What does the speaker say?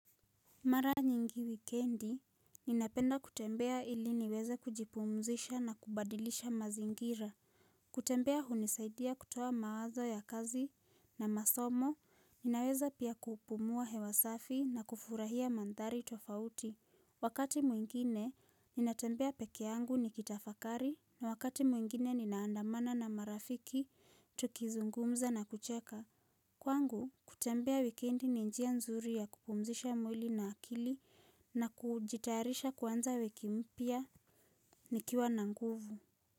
Mara nyingi wikendi, ninapenda kutembea ili niweze kujipumzisha na kubadilisha mazingira. Kutembea hunisaidia kutoa mawazo ya kazi na masomo, ninaweza pia kupumua hewasafi na kufurahia mandhari tofauti. Wakati mwingine, ninatembea peke yangu nikitafakari na wakati mwingine ninaandamana na marafiki, tukizungumza na kucheka. Kwangu, kutembea wikendi ni njia nzuri ya kupumzisha mwili na akili na kujitayarisha kuanza wiki mpya nikiwa na nguvu.